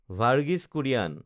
Verghese Kurien